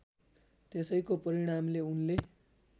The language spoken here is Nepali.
त्यसैको परिणामले उनले